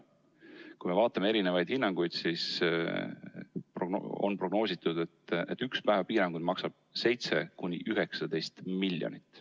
Kui me vaatame erinevaid hinnanguid, siis on prognoositud, et üks päev piiranguid maksab 7–19 miljonit.